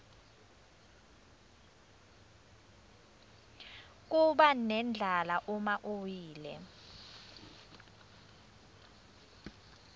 kubanendlala uma uwile